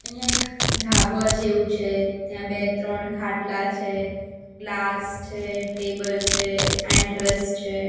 અહીંયા એક ઢાબા જેવું છે ત્યાં બે ત્રણ ખાટલા છે ગ્લાસ છે ટેબલ છે એન્ટ્રસ છે.